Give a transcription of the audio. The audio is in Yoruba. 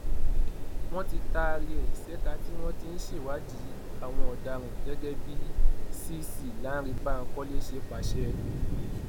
wọn ti taari ẹ ṣèkà tí wọn ti ń ṣèwádìí àwọn ọdaràn gẹgẹ bí cc lánrẹ bankole ṣe pàṣẹ